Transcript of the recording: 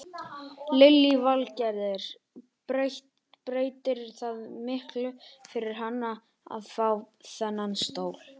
Lillý Valgerður: Breytir það miklu fyrir hana að fá þennan stól?